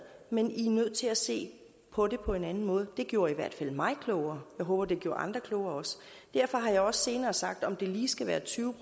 men i er nødt til at se på det på en anden måde det gjorde i hvert fald mig klogere jeg håber at det også gjorde andre klogere derfor har jeg også senere sagt at om det lige skal være tyve